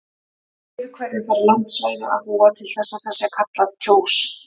Yfir hverju þarf landsvæði að búa til að það sé kallað Kjós?